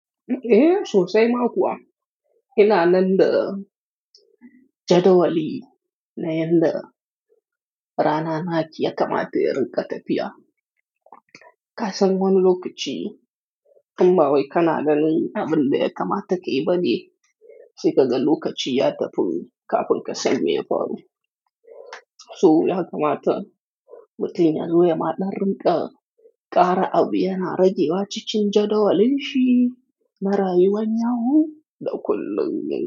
Eh, sosai ma kuwa. Ina nan da jadawali na yadda rana naki ya kamata yin ƙatafiya. Kasan wani lokaci, in ba wai kana nan da abin da ya kamata ki yi ba ne, sai ka ga lokaci ya tafi kafin ka sani ya faru. To, ya kamata mutum ya zo ya maɗa ringa, ƙara abu yana rage wa cikin jadawalin shi, na rayuwan yau da kullum.